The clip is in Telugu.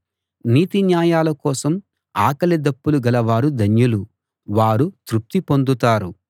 నీతిన్యాయాల కోసం ఆకలిదప్పులు గలవారు ధన్యులు వారు తృప్తి పొందుతారు